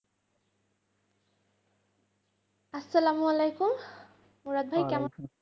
আসসালামু আলাইকুম, মুরাদ ভাই কেমন?